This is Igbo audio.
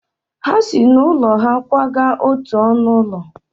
Ha si n’ụlọ ha kwaga n’otu ọnụ ụlọ.